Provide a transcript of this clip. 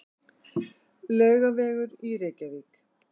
Laugavegur í Reykjavík.